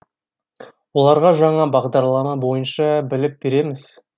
оларға жаңа бағдарлама бойынша білім береміз